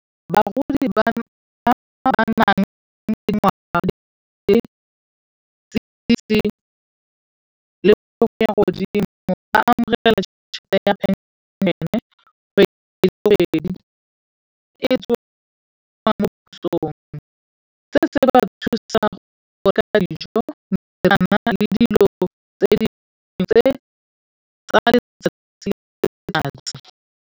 Bagodi ba ba nang le ngwana ba amogela chelete ya penšhene kgwedi le kgwedi. se se ba thusa go oketsa dijo, metsi a nna le dilo tse dinnye tsa letsatsi le letsatsi.